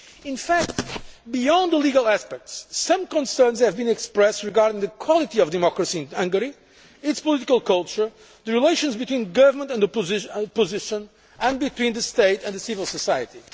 In fact, beyond the legal aspects, some concerns have been expressed regarding the quality of democracy in Hungary, its political culture, the relations between the government and the opposition, and those between the state and civil society.